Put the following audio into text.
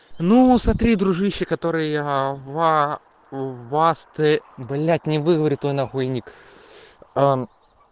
ну смотри дружище который я в а у вас ты блядь не выговорю твой нахуй ник